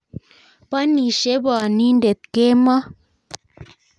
Bonishe bonindet kemo